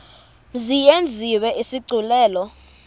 mzi yenziwe isigculelo